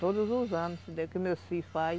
Todos os anos, meu filho faz.